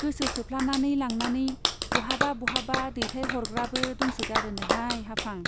गोसो थोफ्लानानै लांनानै बहाबा बहाबा दैथायहरग्राबो दंसोगारोनोहाय हाफां।